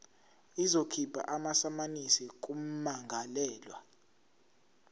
izokhipha amasamanisi kummangalelwa